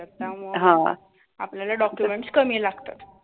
त्यामुळं आपल्याला documents कमी लागतात.